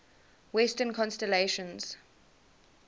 western constellations